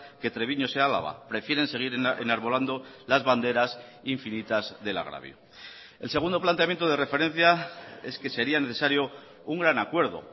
que treviño sea álava prefieren seguir enarbolando las banderas infinitas del agravio el segundo planteamiento de referencia es que sería necesario un gran acuerdo